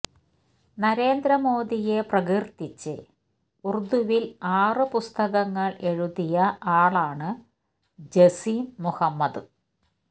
നരേന്ദ്ര മോദിയെ പ്രകീര്ത്തിച്ച് ഉറുദുവില് ആറ് പുസ്തകങ്ങള് എഴുതിയ ആളാണ് ജസീം മുഹമ്മദ്